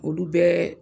Olu bɛɛ